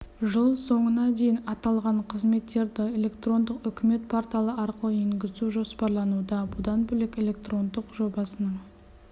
жыл соңына дейін аталған қызметтерді электрондық үкімет порталы арқылы енгізу жоспарлануда бұдан бөлек электрондық жобасының